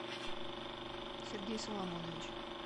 сергей соломонович